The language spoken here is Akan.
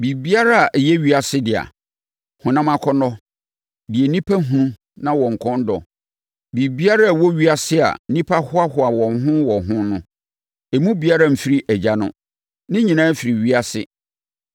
Biribiara a ɛyɛ ewiase dea, honam akɔnnɔ, deɛ nnipa hunu na wɔn kɔn dɔ, biribiara a ɛwɔ ewiase a nnipa hoahoa wɔn ho wɔ ho no, emu biara mfiri Agya no. Ne nyinaa firi ewiase.